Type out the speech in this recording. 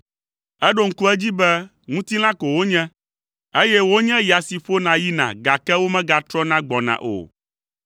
Eɖo ŋku edzi be ŋutilã ko wonye, eye wonye ya si ƒona yina gake megatrɔna gbɔna o.